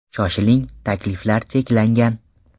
Shoshiling, takliflar cheklangan!